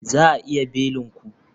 Za a iya belin ku?